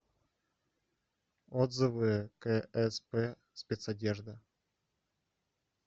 отзывы ксп спецодежда